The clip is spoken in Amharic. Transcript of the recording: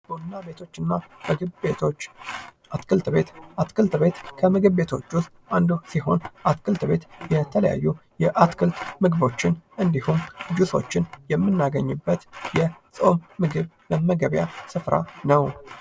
ቡና ቤቶችና ምግብ ቤቶች አትክልት ቤት አትክልት ቤት ከምግብ ቤቶች ውስጥ አንዱ ሲሆን ፤ አትክልት ቤት የተለያዩ የአትክልት ምግቦችን እንዲሁን ጂሶችን የምናገኝበት የፆም ምግብ መመገቢያ ስፍራ ነው።